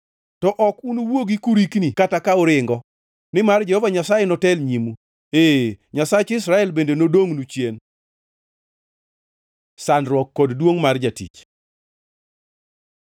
To ok unuwuogi kurikni kata ka uringo; nimar Jehova Nyasaye notel nyimu, ee Nyasach Israel bende nodongʼnu chien. Sandruok kod duongʼ mar jatich